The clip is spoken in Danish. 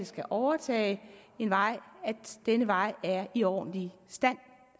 skal overtage en vej at denne vej er i ordentlig stand